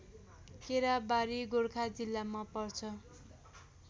केराबारी गोर्खा जिल्लामा पर्छ